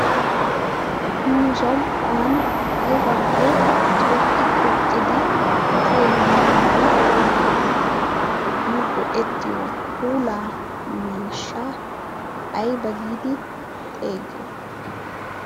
nu som77uwan aibakko xuuqqi xuuqqidi kiyenna mala nu go7ettiyo puula miishsha aiba giidi xeegiyoo?